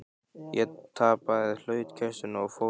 Ég tapaði hlutkestinu og fór til